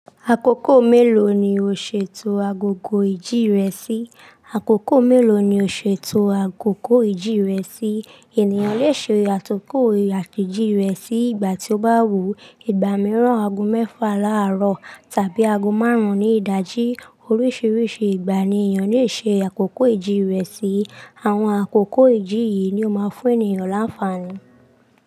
Àkókò mélòó ni o ṣe to agogo ìjì rẹ sí? Àkókò mélòó ni o ṣe to agogo ìjì rẹ sí? Ènìyàn lè ṣe àtòkò àtẹ̀jí rẹ̀ sí ìgbà tí ó bá wù. Ìgbà mìíràn, ago mẹ́fà láàárọ̀ tàbí ago márùn-ún ní ìdajì. Oríṣiríṣi ìgbà ni ènìyàn lè ṣe àkókò ìjì rẹ̀ sí. Àwọn àkókò ìjì yìí ni ó máa ń fún ènìyàn láǹfààní.